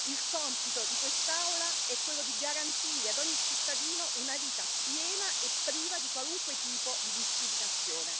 Il compito di quest'Aula è quello di garantire ad ogni cittadino una vita piena e priva di qualunque tipo di discriminazione.